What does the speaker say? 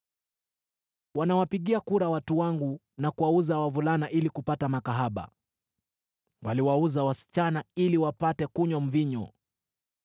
Wanawapigia kura watu wangu na kuwauza wavulana ili kupata makahaba; waliwauza wasichana ili wapate kunywa mvinyo.